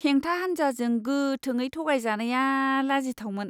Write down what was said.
हेंथा हान्जाजों गोथाङै थगायजानाया लाजिथावमोन!